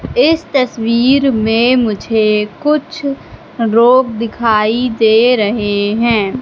इस तस्वीर में मुझे कुछ लोग दिखाई दे रहे हैं।